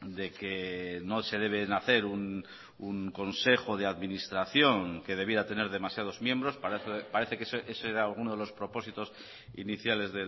de que no se deben hacer un consejo de administración que debiera tener demasiados miembros parece que ese era uno de los propósitos iniciales